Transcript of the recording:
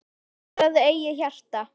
Sigraðu eigið hjarta